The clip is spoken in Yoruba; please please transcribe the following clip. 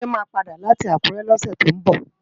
Jide má pàdá láti Akure lòsè tó nbò